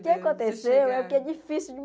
O que aconteceu é o que é difícil